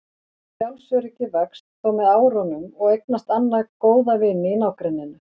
Sjálfsöryggið vex þó með árunum og eignast Anna góða vini í nágrenninu.